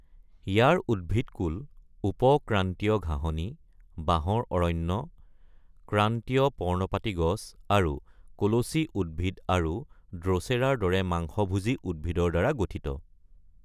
ইয়াৰ উদ্ভিদকূল উপ-ক্ৰান্তীয় ঘাঁহনি, বাঁহৰ অৰণ্য, ক্ৰান্তীয় পৰ্ণপাতী গছ, আৰু কলচী উদ্ভিদ আৰু ড্ৰ’চেৰাৰ দৰে মাংসভোজী উদ্ভিদৰ দ্বাৰা গঠিত।